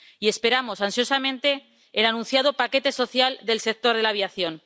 Y esperamos ansiosamente el anunciado paquete social del sector de la aviación.